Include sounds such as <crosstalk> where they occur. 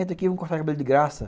<unintelligible> vamos cortar cabelo de graça.